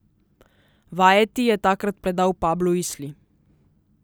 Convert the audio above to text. Vajeti je takrat predal Pablu Isli.